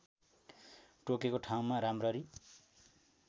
टोकेको ठाउँमा राम्ररी